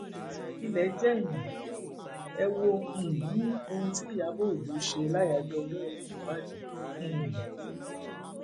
ilé jèèyàn ẹ wo um ohun tí ìyàbọ ọjọ ṣe láyàájọ ọjọòbí mohbad um